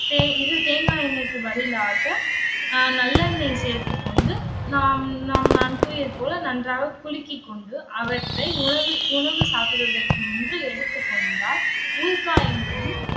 தே~ இது தேங்காய் எண்ணெய்க்கு பதிலாக அஹ் நல்லெண்ணெய் சேர்த்துக்கொண்டு நான் நான் நான் கூறியது போல நன்றாக குலுக்கி கொண்டு, அவற்றை உணவு உணவு சாப்பிடுவதற்கு முன்பு எடுத்துக்கொண்டால் உள் காயங்களும்,